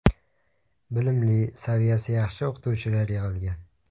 Bilimli, saviyasi yaxshi o‘qituvchilar yig‘ilgan.